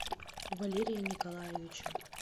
валерия николаевича